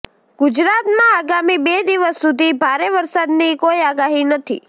ગુજરાતમાં આગામી બે દિવસ સુધી ભારે વરસાદની કોઈ આગાહી નથી